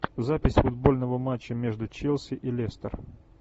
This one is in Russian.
запись футбольного матча между челси и лестер